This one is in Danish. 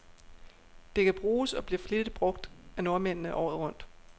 Det kan bruges, og bliver flittigt brug af nordmændene, året rundt.